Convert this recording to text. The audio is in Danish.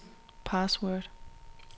password